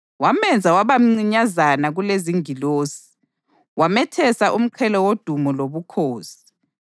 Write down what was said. Wamenza waba mncinyazana kulezingilosi; wamethesa umqhele wodumo lobukhosi,